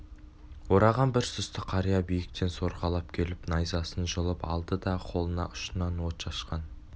ораған бір сұсты қария биіктен сорғалап келіп найзасын жұлып алды да қолына ұшынан от шашқан